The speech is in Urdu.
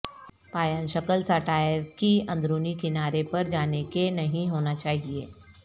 پایان شکل سا ٹائر کی اندرونی کنارے پر جانے کے نہیں ہونا چاہئے